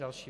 Další -